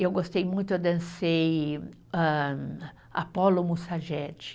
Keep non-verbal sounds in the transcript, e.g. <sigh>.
Eu gostei muito, eu dancei âh, Apolo <unintelligible>